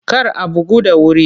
Kar a bugu da wuri!